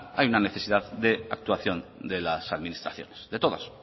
hay una necesidad de actuación de las administraciones de todas